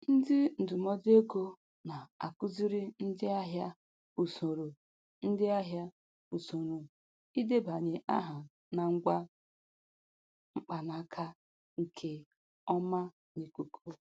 Ndị ndụmọdụ ego na-akụziri ndị ahịa usoro ndị ahịa usoro idebanye aha na ngwa mkpanaka nke ọma n'ikuku,